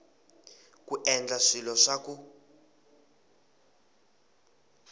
ku endla swilo swa ku